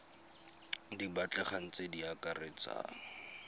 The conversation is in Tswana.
di batlegang tse di akaretsang